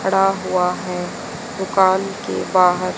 खड़ा हुआ है दुकान के बाहर--